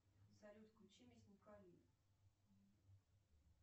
салют включи мясника ли